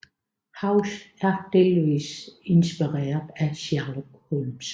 House er delvis inspireret af Sherlock Holmes